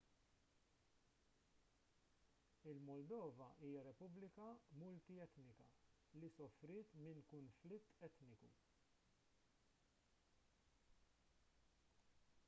il-moldova hija repubblika multi-etnika li sofriet minn kunflitt etniku